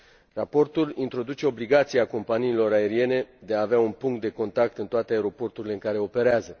Raportul introduce obligația companiilor aeriene de a avea un punct de contact în toate aeroporturile în care operează.